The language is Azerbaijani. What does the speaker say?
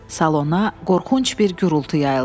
Salona qorxunc bir gurultu yayıldı.